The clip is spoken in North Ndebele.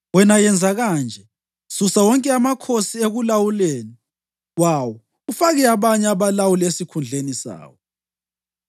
Wena yenza kanje: Susa wonke amakhosi ekulawuleni kwawo ufake abanye abalawuli esikhundleni sawo.